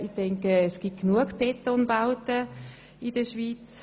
Ich denke, es gibt genug Betonbauten in der Schweiz.